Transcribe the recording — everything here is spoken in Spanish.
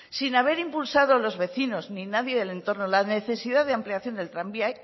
sin haber impulsado los vecinos ni nadie del entorno la necesidad de ampliación del tranvía